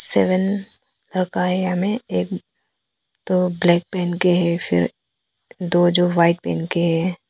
Seven में एक दो ब्लैक पहन के है फिर दो जो व्हाइट पहन के हैं।